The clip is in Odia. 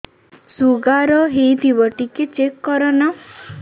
ଶୁଗାର ହେଇଥିବ ଟିକେ ଚେକ କର ନା